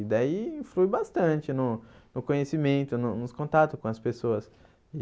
E daí influi bastante no no conhecimento, no nos contatos com as pessoas.